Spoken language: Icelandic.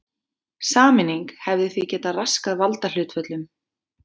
Sameining hefði því getað raskað valdahlutföllum.